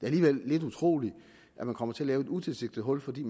alligevel lidt utroligt at man kommer til at lave et utilsigtet hul fordi